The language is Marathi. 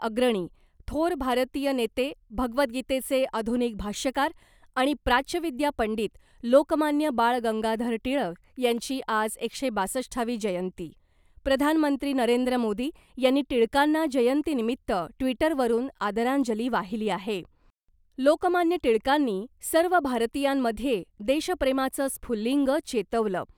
अग्रणी , थोर भारतीय नेते भगवद्गीतेचे आधुनिक भाष्यकार आणि प्राच्यविद्या पंडित लोकमान्य बाळ गंगाधर टिळक यांची आज एकशे बासष्टावी जयंती प्रधानमंत्री नरेंद्र मोदी यांनी टिळकांना जयंती निमित्त ट्विटरवरून आदरांजली वाहिली आहे लोकमान्य टिळकांनी सर्व भारतीयांमध्ये देशप्रेमाचं स्फुल्लिंग चेतवलं .